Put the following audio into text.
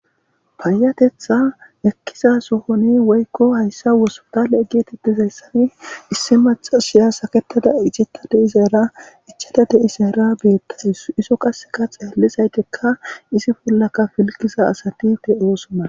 payatetha ekkiza sohoni woykko hayssa wosotaleeggetitizayssani issi maxasiya saketada icetta deisera ichata deisera beettais iso qaseka xeellisaytekka isi bollaka filgisa asati te ooso mana